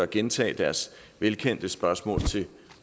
gentage deres velkendte spørgsmål til